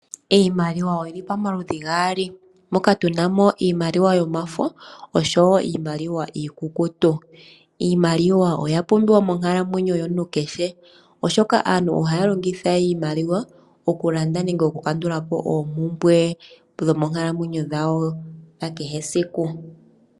Iimaliwa oyili pomaludhi gaali, moka tunamo iimaliwa yafo osho iikukutu. Iimaliwa oya pumbiwa mo nkalamwenyo yomuntu kehe oshoka aantu ohaya longitha iimaliwa okulanda nenge okukandulapo oompumbwe dhomoonkalamwenyo dhawo dha kehe siku.